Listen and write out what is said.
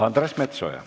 Andres Metsoja.